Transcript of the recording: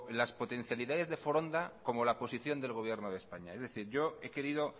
las potencialidades de foronda como la posición del gobierno de españa es decir yo he querido